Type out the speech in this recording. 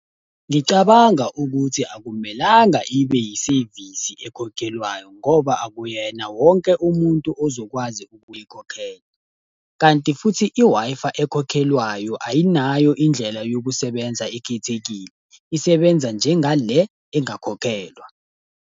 Ngicabanga ukuthi akumelanga ibe yisevisi ekhokhelwayo ngoba akuyena wonke umuntu ozokwazi ukuyikhokhela. Kanti futhi i-Wi-Fi ekhokhelwayo ayinayo indlela yokusebenza ekhethekile, isebenza njenga le engakhokhelwa.